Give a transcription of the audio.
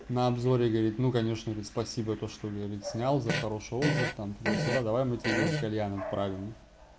на обзоре говорит ну конечно говорит спасибо за то что говорит снял за хороший отзыв там туда-сюда давай мы тебе кальян отправим